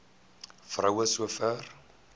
vrou so ver